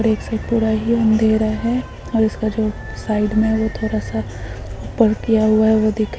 और एक साइड पूरा ही अंधेरा हैऔर उसका जो साइड में है वो थोड़ा- सा ऊपर किया हुआ है वो दिख--